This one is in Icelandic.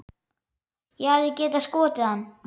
Ég hefði getað skotið hann.